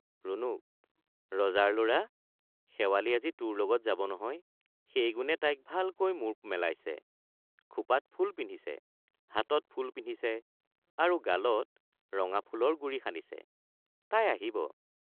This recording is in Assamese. ৰুণুক—ৰজাৰ লৰা শেৱালি আজি তোৰ লগত যাব নহয় সেই গুণে তাই ভালকৈ মূৰ মেলাইছে খোপাত ফুল পিন্ধিছে হাতত ফুল পিন্ধিছে আৰু গালত ৰঙা ফুলৰ গুৰি সানিছে— তাই আহিব।